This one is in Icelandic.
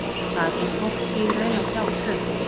Þar fer fólk því í raun að sjá tvöfalt.